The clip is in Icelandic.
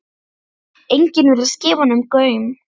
Enginn virtist gefa honum gaum.